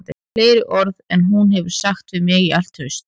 Fleiri orð en hún hefur sagt við mig í allt haust